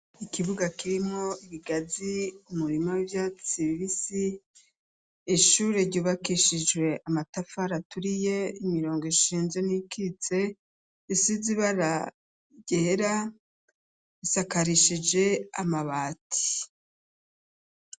Ikibuga kirimwo ibigazi umurima w'ivyatsi ishure ryubakishijwe amatafari aturiye imirongo ishinze n'iyikitse isize ibara ryera isakarishije amabati.